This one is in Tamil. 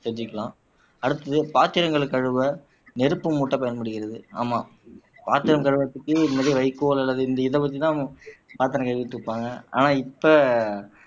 செஞ்சுக்கலாம் அடுத்தது பாத்திரங்களைக் கழுவ நெருப்பு மூட்டப் பயன்படுகிறது ஆமாம் பாத்திரம் கழுவறதுக்கு வைக்கோல் அல்லது இந்த இதைவச்சு தான் பாத்திரம் கழுவிட்டு இருப்பாங்க ஆனா இப்ப